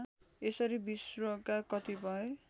यसरी विश्वका कतिपय